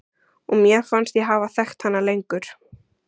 Og mér fannst ég hafa þekkt hana lengur.